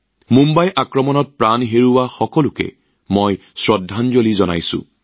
মুম্বাই আক্ৰমণত প্ৰাণ হেৰুওৱা সকলোকে শ্ৰদ্ধাঞ্জলি জনাইছো